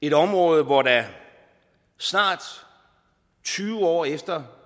et område hvor der snart tyve år efter